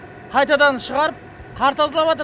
қайтадан шығарып қар тазалаватыр